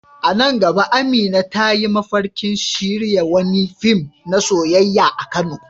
A nan gaba Amina ta yi mafarkin shirya wani fim na soyayya a Kano.